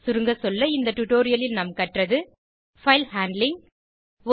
சுருங்க சொல்ல இந்த டுடோரியலில் நாம் கற்றது பைல் ஹேண்ட்லிங்